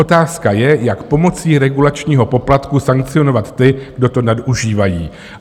Otázka je, jak pomocí regulačního poplatku sankcionovat ty, kdo to nadužívají.